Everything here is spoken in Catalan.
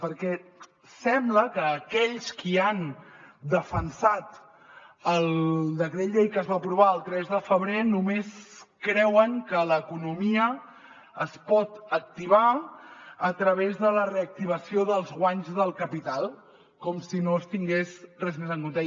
perquè sembla que aquells qui han defensat el decret llei que es va aprovar el tres de febrer només creuen que l’economia es pot activar a través de la reactivació dels guanys del capital com si no es tingués res més en compte